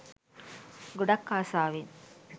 ගොඩක් ආසාවෙන්